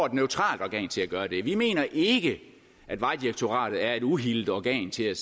et neutralt organ til at gøre det vi mener ikke at vejdirektoratet er et uhildet organ til at